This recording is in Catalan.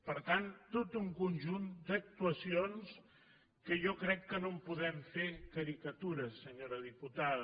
per tant tot un conjunt d’actuacions que jo crec que no en podem fer caricatura senyora diputada